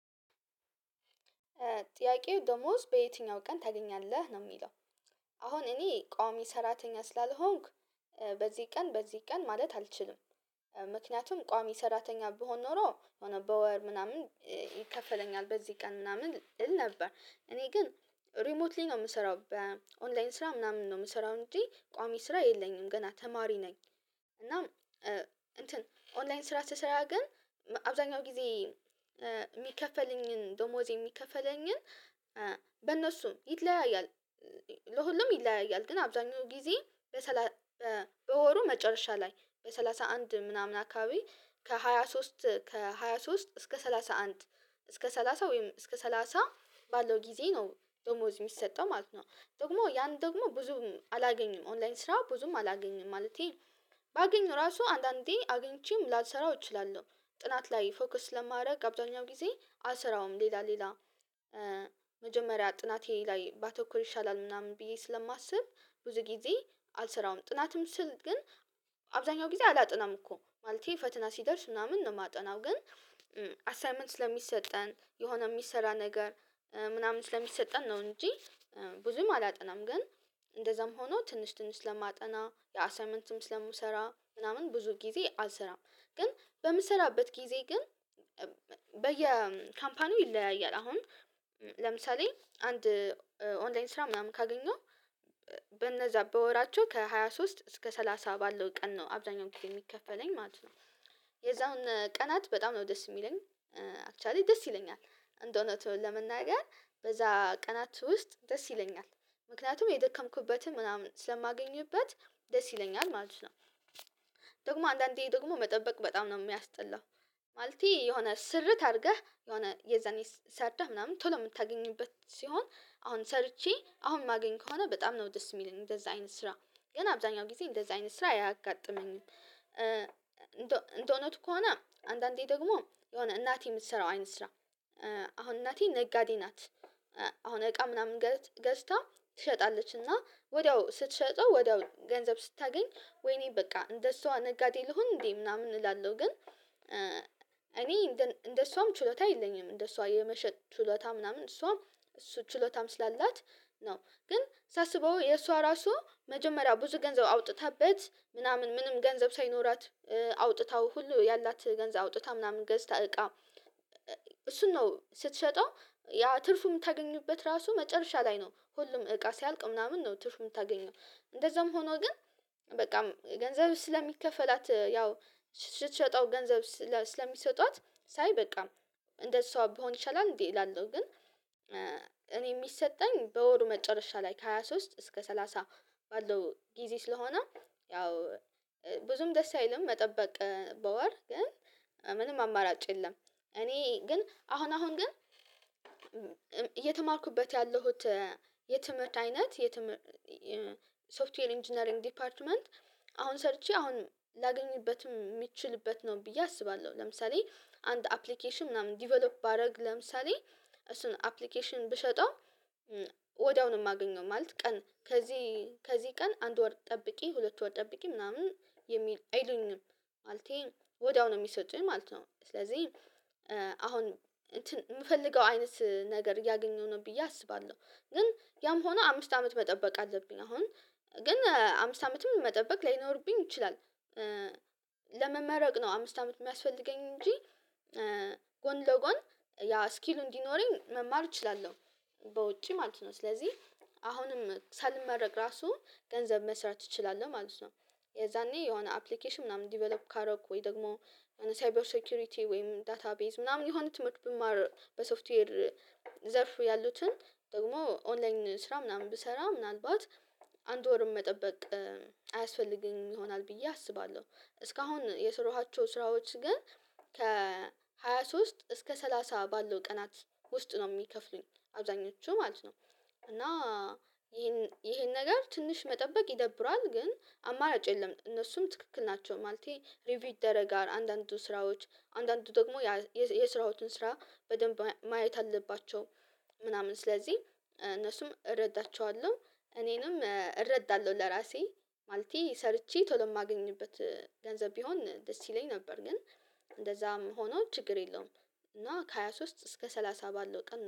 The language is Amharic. "ጥያቄው ደሞዝ በየትኛው ቀን ታገኛለህ?" ነው የሚለው። አሁን እኔ ቋሚ ሰራተኛ ስላልሆንኩ በዚህ ቀን በዚህ ቀን ማለት አልችልም። ምክንያቱም ቋሚ ሰራተኛ ብሆን ኖሮ ሆኖ በወር ምናምን ይከፈለኛል በዚህ ቀን ምናምን እል ነበር። እኔ ግን ሪሞትሊ ነው የምሰራው በኦንላይን ስራ ምናምን ነው የምሰራው እንጂ ቋሚ ስራ የለኝም ገና ተማሪ ነኝ እና እንትን ኦንላይን ስራ ስሰራ ግን አብዛኛው ጊዜ የሚከፈለኝን ደሞዜ የሚከፈለኝን በእነሱም ይለያያል ለሁሉም ይለያያል ግን አብዛኛው ጊዜ በሰላሳ በወሩ መጨረሻ ላይ በሰላሳ አንድ ምናምን አካባቢ ከሃያ ሶስት ከሃያ ሶስት እስከ ሰላሳ አንድ እስከ ሰላሳ ወይም እስከ ሰላሳ ባለው ጊዜ ነው ደሞዝ ሚሰጠው ማለት ነው። ደግሞ ያን ደግሞ ብዙም አላገኝም ኦንላይን ስራ ብዙም አላገኝም ማለቴ ባገኝ ራሱ አንዳንዴ አግኝቼም ላልሰራው እችላለሁ። ጥናት ላይ ፎከስ ስለማደርግ አብዛኛው ጊዜ አልሰራውም ሌላ ሌላ መጀመሪያ ጥናቴ ላይ ባተኩር ይሻላል ምናምን ብዬ ስለማስብ፤ ብዙ ጊዜ አልሰራውም። ጥናትም ስል ግን አብዛኛው ጊዜ አላጠናም እኮ ማለቴ ፈተና ሲደርስ ምናምን ነው የማጠናው ግን አሳይመንት ስለሚሰጠን የሆነ የሚሰራ ነገር ምናምን ስለሚሰጠን ነው እንጂ ብዙም አላጠናም ግን እንደዛም ሆኖ ትንሽ ትንሽ ስለማጠና የአሳይመንትም ስለምሰራ ምናምን ብዙ ጊዜ አልሰራም ግን በምሰራበት ጊዜ ግን በየ ካምፓኒው ይለያያል አሁን ለምሳሌ አንድ ኦንላይን ስራ ምናምን ካገኘሁ በነዛ በወራቸው ከሃያ ሶስት እስከ ሰላሳ ባለው ቀን ነው አብዛኛውን ጊዜ የሚከፈለኝ ማለት ነው። የዛውን ቀናት በጣም ነው ደስ የሚለኝ። አክቿሊ ደስ ይለኛል እንደእውነቱ ለመናገር በዛ ቀናት ውስጥ ደስ ይለኛል። ምክንያቱም የደከምክበትን ምናምን ስለማገኝበት ደስ ይለኛል ማለት ነው። ደግሞ አንዳንዴ ደግሞ መጠበቅ በጣም ነው የሚያስጠላው። ማለቴ የሆነ ስርት አድርገህ የሆነ የዛኔ ሰርተህ ምናምን ቶሎ የምታገኝበት ሲሆን አሁን ሰርቼ አሁን ማገኝ ከሆነ በጣም ነው ደስ የሚለኝ እንደዛ አይነት ስራ ገን አብዛኛው ጊዜ እንደዛ አይነት ስራ አያጋጥመኝም። እንደ እንደእውነቱ ከሆነ አንዳንዴ ደግሞ የሆነ እናቴ የምትሰራው አይን ስራ አሁን እናቴ ነጋዴ ናት አሁን እቃ ምናምን ገዝ ገዝታ ትሸጣለች፤ እና ወዲያው ስትሸጠው ወዲያው ገንዘብ ስታገኝ ወይኔ በቃ እንደሷ ነጋዴ ልሁን እንዴ ምናምን እላለሁ፤ ግን እኔ እንደ እንደሷም ችሎታ የለኝም እንደሷ የመሸጥ ችሎታ ምናምን እሷ እሱ ችሎታም ስላላት ነው፤ ግን ሳስበው የእሷ ራሱ መጀመሪያ ብዙ ገንዘብ አውጥታበት ምናምን ምንም ገንዘብ ሳይኖራት አውጥታው ሁሉ ያላት ገንዘብ አውጥታ ምናምን ገዝታ እቃ እሱን ነው ስትሸጠው ያ ትርፉ የምታገኙበት ራሱ መጨረሻ ላይ ነው ሁሉም እቃ ሲያልቅ ምናምን ነው ትርፍ የምታገኘው፤ እንደዛም ሆኖ ግን በቃም ገንዘብ ስለሚከፈላት ያው ስትሸጠው ገንዘብ ስለሚሰጧት ሳይ በቃ እንደእሷ ብሆን ይሻላል እንዴ እላለሁ፤ ግን እኔ የሚሰጠኝ በወሩ መጨረሻ ላይ ከሃያ ሶስት እስከ ሰላሳ ባለው ጊዜ ስለሆነ ያው ብዙም ደስ አይልም መጠበቅ በወር ግን ምንም አማራጭ የለም። እኔ ግን አሁን አሁን ግን እየተማርኩበት ያለሁት የትምህርት አይነት የትምህ ሶፍትዌር ኢንጂነሪንግ ዲፓርትመንት አሁን ሰርቼ አሁን ላገኝበትም የምችልበት ነው ብዬ አስባለሁ። ለምሳሌ አንድ አፕሊኬሽን ምናምን ዲቨሎፕ ባደርግ ለምሳሌ እሱን አፕሊኬሽን ብሸጠው ወዲያው ነው የማገኘው ማለት ቀን ከዚህ ከዚህ ቀን አንድ ወር ጠብቄ ሁለት ወር ጠብቄ ምናምን የሚል አይሉኝም ማለቴ ወዲያው ነው የሚሰጡኝ ማለት ነው። ስለዚህ አሁን የምፈልገው አይነት ነገር እያገኘሁ ነው ብዬ አስባለሁ፤ ግን ያም ሆኖ አምስት አመት መጠበቅ አለብኝ አሁን ግን አምስት አመትም መጠበቅ ላይኖርብኝ ይችላል። ለመመረቅ ነው አምስት አመት የሚያስፈልገኝ እንጂ ጎን ለጎን ያ ስኪሉ እንዲኖረኝ መማር እችላለሁ። በውጪ ማለት ነው። ስለዚህ አሁንም ሳልመረቅ ራሱ ገንዘብ መስራት እችላለሁ ማለት ነው። የዛኔ የሆነ አፕሊኬሽን ምናምን ዲቨሎፕ ካደረኩ ወይ ደግሞ ሳይበር ሴኩሪቲ ወይም ዳታቤዝ ምናምን የሆነ ትምህርት ብማር በሶፍትዌር ዘርፍ ያሉትን ደግሞ ኦንላይን ስራ ምናምን ብሰራ ምናልባት አንድ ወርም መጠበቅ አያስፈልገኝም ይሆናል ብዬ አስባለሁ። እስካሁን የሰራኋቸው ስራዎች ግን ከሃያ ሶስት እስከ ሰላሳ ባለው ቀናት ውስጥ ነው የሚከፍሉኝ አብዛኞቹ ማለት ነው፤ እና ይሄን ይሄን ነገር ትንሽ መጠበቅ ይደብራል፤ ግን አማራጭ የለም እነሱም ትክክል ናቸው። ማለቴ ሪቪው ደረጋል አንዳንዱ ስራዎች፣ አንዳንዱ ደግሞ የስራዎችን ስራ በደንብ ማየት አለባቸው፤ ምናምን ስለዚህ እነሱም እረዳቸዋለሁ እኔንም እረዳለሁ ለራሴ ማለቴ ሰርቼ ቶሎ የማገኝበት ገንዘብ ቢሆን ደስ ይለኝ ነበር፤ ግን እንደዛም ሆኖ ችግር የለውም እና ከሃያ ሶስት እስከ ሰላሳ ባለው ቀን